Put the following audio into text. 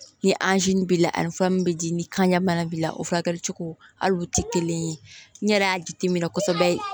Ni b'i la ani b'i la ni kanja bana b'i la o furakɛli cogo hali o tɛ kelen ye n yɛrɛ y'a jateminɛ kosɛbɛ